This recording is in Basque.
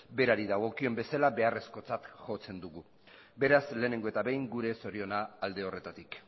berari dagokien bezala beharrezkotzat jotzen dugu beraz lehenengo eta behin gure zoriona alde horretatik